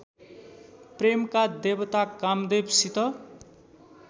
प्रेमका देवता कामदेवसित